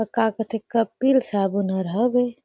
उ का कथे कपिल साबुन हर हवे।